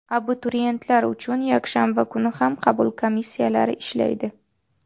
Abituriyentlar uchun yakshanba kuni ham qabul komissiyalari ishlaydi.